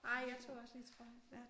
Nej jeg tog også lige trøjen på